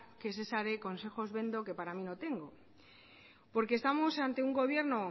que es esa de consejos vendo que para mí no tengo porque estamos ante un gobierno